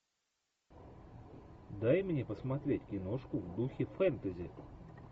дай мне посмотреть киношку в духе фэнтези